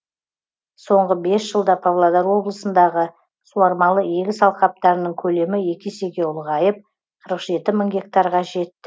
соңғы бес жылда павлодар облысындағы суармалы егіс алқаптарының көлемі екі есеге ұлғайып қырық жеті мың гектарға жетті